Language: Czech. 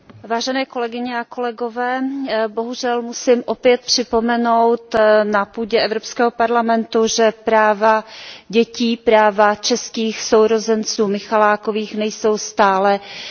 Bohužel musím opět na půdě Evropského parlamentu připomenout, že práva dětí, práva českých sourozenců Michalákových, nejsou stále ještě chráněna a prosazena.